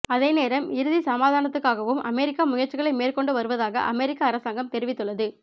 அதேநேரம் இறுதி சமாதானததுக்காகவும் அமெரிக்கா முயற்சிகளை மேற்கொண்டு வருவதாக அமெரிக்க அரசாங்கம் தெரிவித்துள்ளது